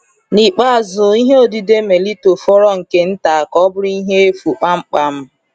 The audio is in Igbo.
N’ikpeazụ, ihe odide Melito fọrọ nke nta ka ọ bụrụ ihe efu kpamkpam.